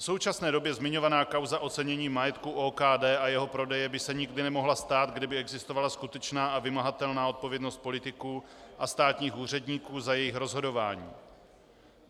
V současné době zmiňovaná kauza ocenění majetku OKD a jeho prodeje by se nikdy nemohla stát, kdyby existovala skutečná a vymahatelná odpovědnost politiků a státních úředníků za jejich rozhodování.